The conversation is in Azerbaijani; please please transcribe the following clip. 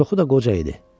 Çoxu da qoca idi.